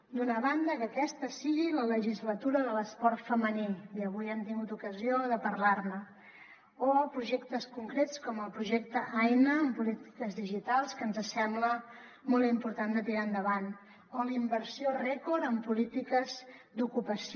d’una banda que aquesta sigui la legislatura de l’esport femení i avui hem tingut ocasió de parlar ne o de projectes concrets com el projecte aina en polítiques digitals que ens sembla molt important de tirar endavant o de la inversió rècord en polítiques d’ocupació